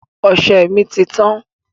Ọsẹ mi ti tán